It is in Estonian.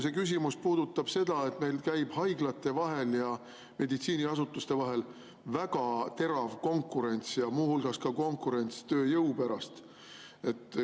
See küsimus puudutab seda, et meil käib haiglate ja meditsiiniasutuste vahel väga terav konkurents ja muu hulgas konkurents tööjõu pärast.